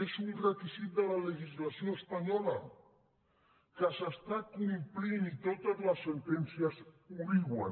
és un requisit de la legislació espanyola que s’està complint i totes les sentències ho diuen